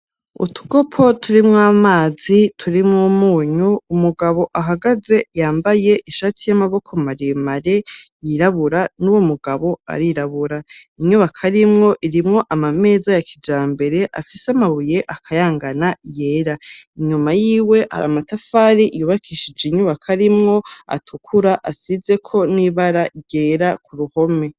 Utukopo turi mw'amazi turi mwumunyu umugabo ahagaze yambaye ishati y'amaboko maremare, yirabura n'uwo mugabo arirabura, inyubako arimwo irimwo amameza ya kija mbere afise amabuye akayangana yera, inyuma y'iwe hari amatafari iyubakishije inyubaka arimwo atukura asize ko n'ibara ryera ku ruhome.